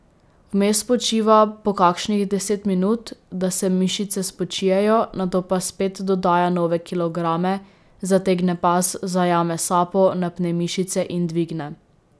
Vmes počiva po kakšnih deset minut, da se mišice spočijejo, nato pa spet dodaja nove kilograme, zategne pas, zajame sapo, napne mišice in dvigne.